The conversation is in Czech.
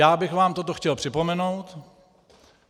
Já bych vám toto chtěl připomenout.